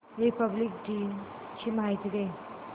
Republic दिन ची माहिती दे